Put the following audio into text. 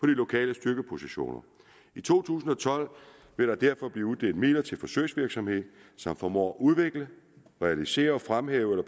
lokale styrkepositioner i to tusind og tolv vil der derfor blive uddelt midler til forsøgsvirksomhed som formår at udvikle realisere og fremhæve eller